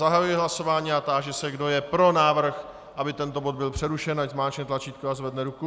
Zahajuji hlasování a táži se, kdo je pro návrh, aby tento bod byl přerušen, ať zmáčkne tlačítko a zvedne ruku.